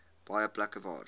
baie plekke waar